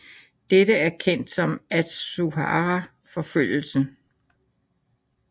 Dette er kendt som Atsuhara forfølgelsen